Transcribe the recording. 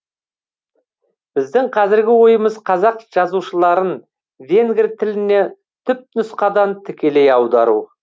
біздің қазіргі ойымыз қазақ жазушыларын венгр тіліне түпнұсқадан тікелей аудару